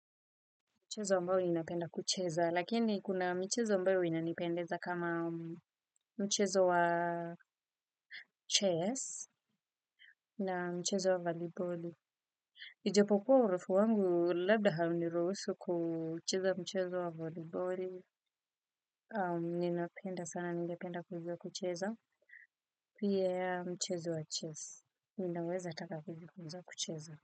Mchezo ambao ninapenda kucheza, lakini kuna mchezo ambao inanipendeza kama mchezo wa chess na mchezo wa volleyball. Ijapokuwa urefu wangu labda hauniruhusu kucheza mchezo wa volleyball. Ninapenda sana, ningependa kujua kucheza, pia mchezo wa chess. Ninaweza ataka kujiifunza kucheza.